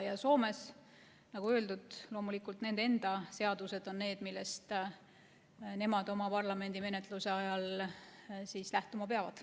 Ja Soomes on, nagu öeldud, loomulikult nende enda seadused need, millest nemad oma parlamendi menetluse ajal lähtuma peavad.